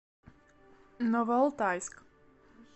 новоалтайск